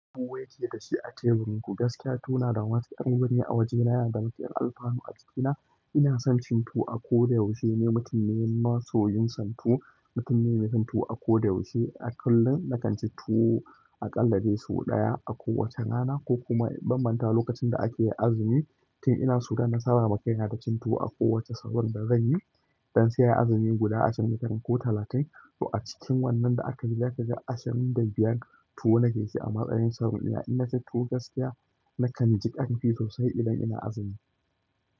Kuwait yake da shi a teburin ku. Gaskiya tuwo na da matuƙar wuri a waje na da matuƙar alfanu a jikina. Ina son cin tuwo a koda yaushe. Ni mutum ne masoyin son tuwo. Mutum ne mai cin tuwo a koda yaushe. A kullum na kan ci tuwo a ƙalla dai su ɗaya. A ko wace rana ko kuma ban manta lokacin da ake azumi. Tin ina so har nasaba ma kaina da cin tuwo a kowacce sahur da zan yi. Dan sai ai azumi guda ashirin da tara ko talatin. To a cikin wannan da aka yi zaka ga ashirin da biyar tuwo nake ci a matsayin sahur ɗina ni. Ina cin tuwo gaskiya na kanji ƙarfi sosai idan ina azumi.